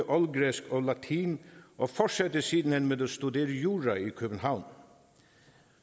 oldgræsk og latin og fortsatte siden hen med at studere jura i københavn